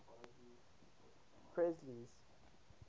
presley's